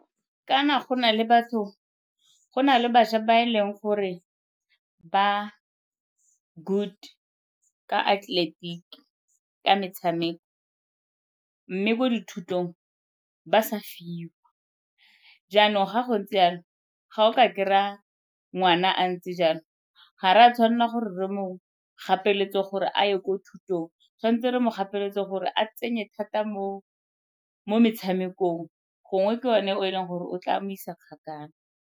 Kana go na le batho, go na le bašwa ba e leng gore ba good ka atleletiki, ka metshameko mme mo dithutong ba sa fiwa. Jaanong ga go ntse jalo ga o ka kry-a ngwana a ntse jalo, ga re a tshwanela gore re mo gapeletse gore a ye ko thutong tshwanetse re mo gapeletse gore a tsenye thata mo metshamekong, gongwe ke yone e leng gore o tla a mo isa kgakala.